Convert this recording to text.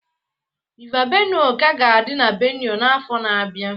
River Benue ka ga-adị na Benue n'afọ na-abịa